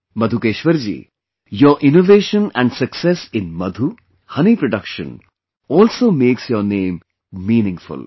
Madhukeshwar ji, your innovation and success in madhu, honey production also makes your name meaningful